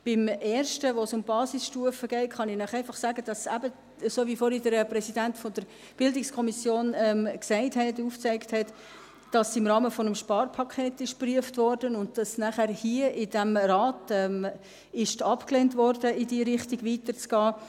Zum ersten, bei dem es um Basisstufen geht kann ich Ihnen einfach sagen, dass es eben, so wie es vorhin der Präsident der BiK aufgezeigt hat, im Rahmen eines Sparpakets geprüft, aber danach hier in diesem Rat abgelehnt wurde, in diese Richtung weiterzugehen.